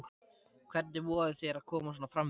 Hvernig vogarðu þér að koma svona fram við mig!